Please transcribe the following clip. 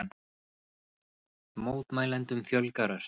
Mótmælendum fjölgar ört